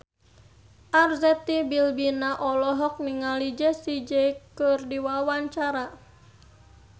Arzetti Bilbina olohok ningali Jessie J keur diwawancara